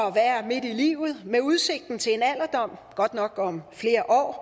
at være midt i livet med udsigten til en alderdom godt nok om flere år